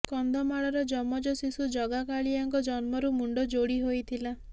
କନ୍ଧମାଳର ଯମଜ ଶିଶୁ ଜଗା କାଳିଆଙ୍କର ଜନ୍ମରୁ ମୁଣ୍ଡ ଯୋଡି ହୋଇଥିଲା